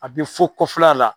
A tɛ fɔ kɔfɛla la.